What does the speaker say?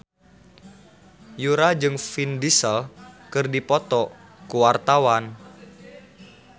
Yura jeung Vin Diesel keur dipoto ku wartawan